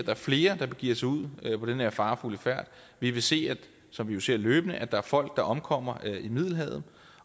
er flere der begiver sig ud på den her farefulde færd vi vil se som vi jo ser løbende at der er folk der omkommer i middelhavet